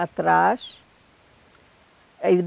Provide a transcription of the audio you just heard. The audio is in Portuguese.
Atrás. Aí